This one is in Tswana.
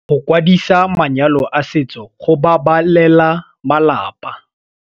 Go kwadisa manyalo a setso go babalela malapa.